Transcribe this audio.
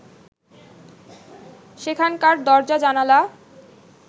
সেখানকার দরজা-জানালা